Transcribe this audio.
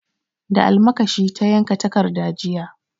Da almakashi ta yanka takarda jiya.